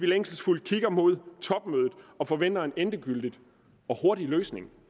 længselsfuldt mod topmødet og forventer at der en endegyldig og hurtig løsning